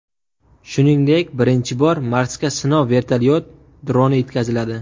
Shuningdek, birinchi bor Marsga sinov vertolyot droni yetkaziladi.